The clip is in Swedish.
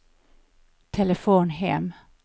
telefon hem